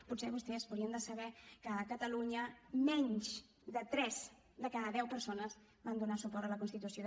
potser vostès haurien de saber que a catalunya menys de tres de cada deu persones van donar suport a la constitució